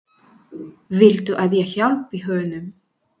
Viltu að ég hjálpi honum?